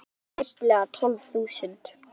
Íbúar eru tæplega tólf þúsund.